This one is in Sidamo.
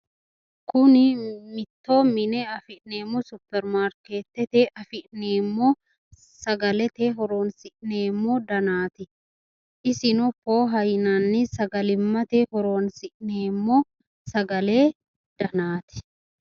Kuni mitto mine afi'neemmo supperimaarkeettete afi'neemmo sagalete horoonsi'neemmo danaati. Isino pooha yinanni sagalimmate horoonsi'neemmo sagale danaati.